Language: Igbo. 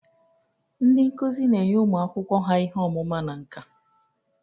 Ndị nkuzi na-enye ụmụ akwụkwọ ha ihe ọmụma na nka.